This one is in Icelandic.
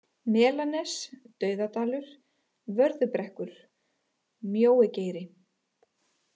Melanes, Dauðadalur, Vörðubrekkur, Mjóigeiri